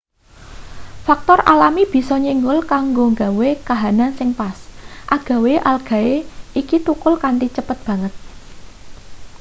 faktor alami bisa nyenggol kanggo gawe kahanan sing pas agawe algae iki thukul kanthi cepet banget